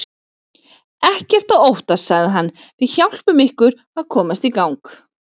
Ekkert að óttast sagði hann, við hjálpum ykkur að komast í gang.